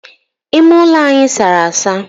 Ime ulo anyi sara asa.